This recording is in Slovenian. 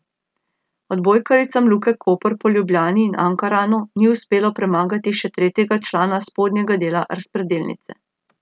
Odbojkaricam Luke Koper po Ljubljani in Ankaranu ni uspelo premagati še tretjega člana spodnjega dela razpredelnice.